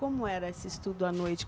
Como era esse estudo à noite?